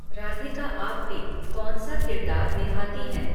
राधिका आप्टे कौनसा किरदार निभाती हैं